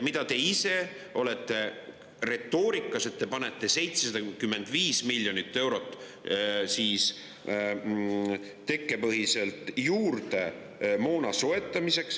Te olete ise kasutanud retoorikat, et te panete 75 miljonit eurot tekkepõhiselt juurde moona soetamiseks.